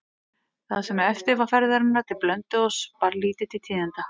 Það sem eftir var ferðarinnar til Blönduóss bar lítið til tíðinda.